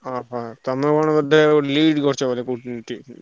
ହଁ ହଁ ତମେ କଣ ବୋଧେ lead କରୁଚ ବୋଧେ କୋଉ ଉଁ team ।